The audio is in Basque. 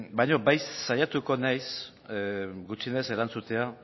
baino bai saiatuko naiz gutxienez erantzutea